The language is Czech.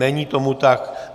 Není tomu tak.